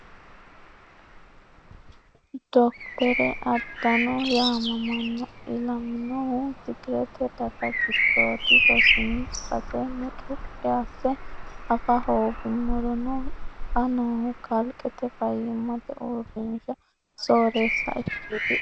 Dokkotore Adano yaamamano ilaminohu tigirete daga giddodi rosino base mucuqi asse afa hooguummorono xa noohu kalqete faayyimate uurrinsha soorreessa ikketi.